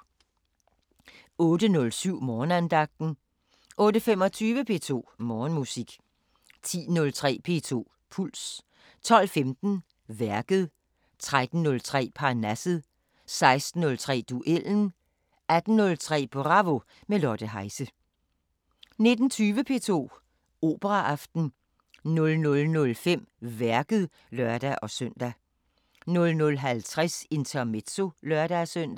08:07: Morgenandagten 08:25: P2 Morgenmusik 10:03: P2 Puls 12:15: Værket 13:03: Parnasset 16:03: Duellen 18:03: Bravo – med Lotte Heise 19:20: P2 Operaaften 00:05: Værket (lør-søn) 00:50: Intermezzo (lør-søn)